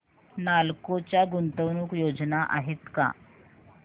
नालको च्या गुंतवणूक योजना आहेत का